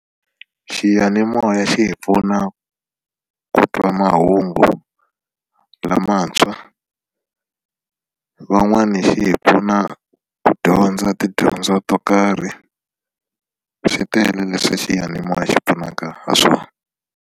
Xiyanimoya xi hi pfuna ku twa mahungu lamantshwa van'wani xi hi pfuna ku dyondza tidyondzo to karhi swi tele leswi xiyanimoya xi pfunaka ha swona.